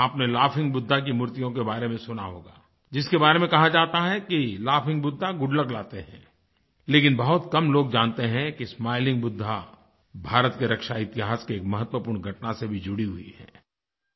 आपने लॉगहिंग बुद्धा की मूर्तियों के बारे में सुना होगा जिसके बारे में कहा जाता है कि लॉगहिंग बुद्धा गुड लक लाते हैं लेकिन बहुत कम लोग जानते हैं कि स्माइलिंग बुद्धा भारत के रक्षा इतिहास की एक महत्वपूर्ण घटना से भी जुड़ी हुई है